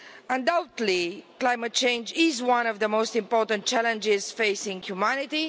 Undoubtedly climate change is one of the most important challenges facing humanity.